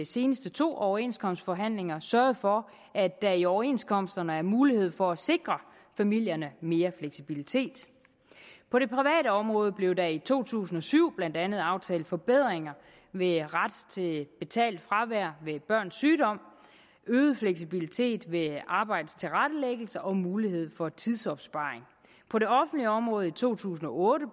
seneste to overenskomstforhandlinger sørget for at der i overenskomsterne er mulighed for at sikre familierne mere fleksibilitet på det private område blev der i to tusind og syv blandt andet aftalt forbedringer med ret til betalt fravær ved børns sygdom øget fleksibilitet ved arbejdets tilrettelæggelse og mulighed for tidsopsparing på det offentlige område i to tusind og otte